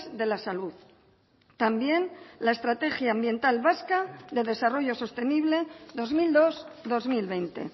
de la salud también la estrategia ambiental vasca de desarrollo sostenible dos mil dos dos mil veinte